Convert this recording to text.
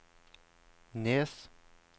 Nes